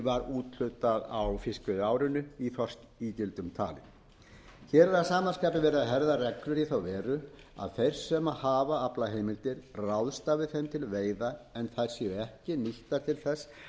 var úthlutað á fiskveiðiárinu í þorskígildum talið hér er að sama skapi verið að herða reglur í þá veru að þeir sem hafi aflaheimildir ráðstafi þeim til veiða en þær séu ekki nýttar til þess